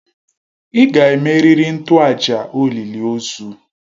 Ị ga-emerịrị ntoaja olịlị ozu!